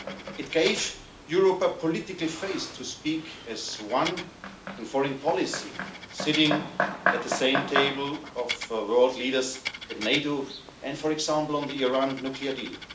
It gave Europe a political face to speak as one in foreign policy, sitting at the same table of world leaders at NATO and, for example, on the Iran nuclear deal.